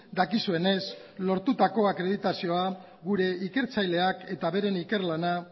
dakizuenez lortutako akreditazioa gure ikertzaileak eta beren ikerlana